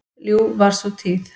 Ljúf var sú tíð.